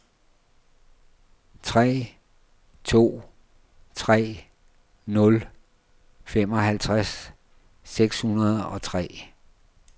tre to tre nul femoghalvtreds seks hundrede og tre